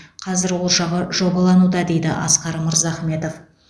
қазір ол жағы жобалануда дейді асқар мырзахметов